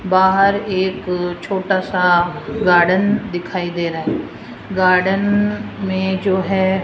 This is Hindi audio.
बाहर एक छोटा सा गार्डन दिखाई दे रहा है गार्डन में जो है --